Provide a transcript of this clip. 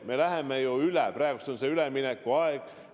Ma ütlen veel kord, et praegu on üleminekuaeg.